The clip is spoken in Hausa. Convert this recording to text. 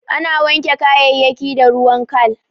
Ana wanke kayayayyaki da ruwan kal.